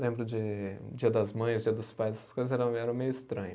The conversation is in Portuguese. Lembro de Dia das Mães, Dia dos Pais, essas coisas eram eram meio estranha.